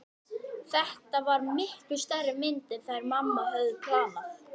Þetta var miklu stærri mynd en þær mamma höfðu pantað.